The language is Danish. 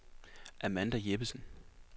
Amanda Jeppesen